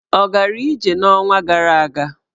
Ọ gara ije n'ọnwa gara aga?